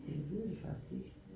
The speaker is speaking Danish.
Jeg ved det faktisk ikke